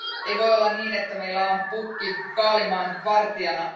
Ei voi olla niin, että meillä on pukki kaalimaan vartijana.